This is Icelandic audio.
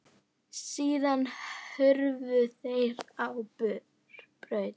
Síðan hurfu þeir á braut.